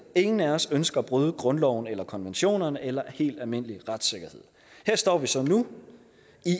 ingen af os ønsker at bryde grundloven eller konventionerne eller helt almindelig retssikkerhed her står vi så nu